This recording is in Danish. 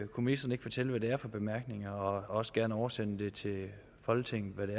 kunne ministeren ikke fortælle hvad det er for bemærkninger og også gerne oversende til folketinget hvad